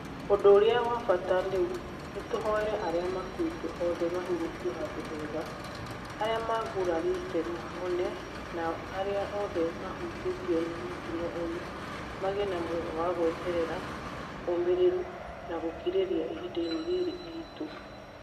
ũndũ ũrĩa wa bata rĩu nĩtũhoere arĩa makũĩte othe mahurũkio handũ hega , arĩa magurarĩte mahone na arĩa othe mahutĩtio nĩ mũtino ũyũ magĩe na muoyo wa gweterera, ũmĩrĩru na gũkirĩrĩria ihinda-inĩ rĩrĩ iritĩ